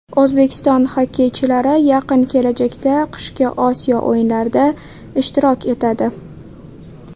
O‘zbekiston xokkeychilari yaqin kelajakda qishki Osiyo o‘yinlarida ishtirok etadi.